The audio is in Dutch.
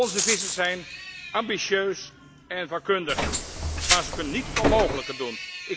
Onze vissers zijn ambitieus en vakkundig, maar ze kunnen niet het onmogelijke doen.